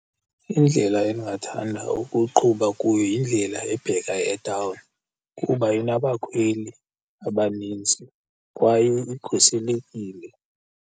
Indlela endingathanda ukuqhuba kuyo yindlela ebheka etawuni kuba inabakhweli abanintsi kwaye ikhuselekile.